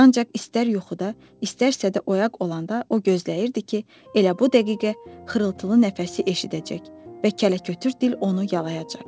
Ancaq istər yuxuda, istərsə də oyaq olanda, o gözləyirdi ki, elə bu dəqiqə xırıltılı nəfəsi eşidəcək və kələkötür dil onu yalayacaq.